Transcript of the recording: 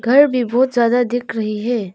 घर भी बहुत ज्यादा दिख रही है।